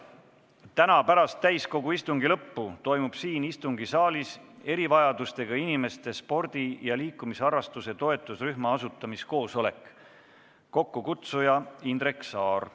Täna pärast täiskogu istungi lõppu toimub siin istungisaalis erivajadustega inimeste spordi ja liikumisharrastuse toetusrühma asutamiskoosolek, mille kokkukutsuja on Indrek Saar.